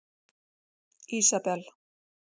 Ísabel